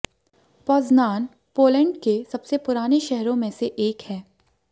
Poznan Poland के सबसे पुराने शहरों में से एक है